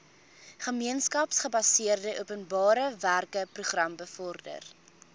gemeenskapsgebaseerde openbarewerkeprogram bevorder